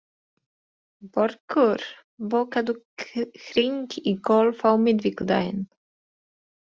Börkur, bókaðu hring í golf á miðvikudaginn.